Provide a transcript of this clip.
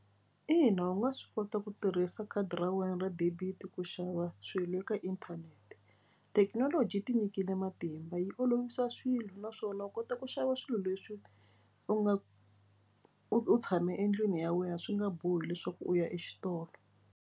Ina u nga swi kota ku tirhisa khadi ra wena ra debit ku xava swilo eka inthanete. Thekinoloji tinyikile matimba yi olovisa swilo naswona u kota ku xava swilo leswi u nga u tshame endlwini ya wena swi nga bohi leswaku u ya exitolo.